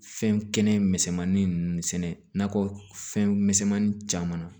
Fɛn kɛnɛ misɛnmanin ninnu sɛnɛ nakɔ fɛn misɛnmani caman na